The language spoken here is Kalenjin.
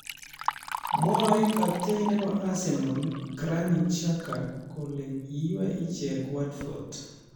Mwaei Captain nebo Arsenal ,Granit Xhaka kole kiiywei ichek Watford